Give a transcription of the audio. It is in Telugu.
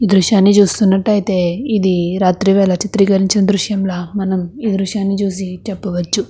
దృశ్యాన్ని చూస్తున్నట్టు అయితే ఇది రాత్రివేళా చిత్రకరించినా దృశ్యం ల మనం ఈ దృశ్యం ని చూసి చెప్పవచ్చు.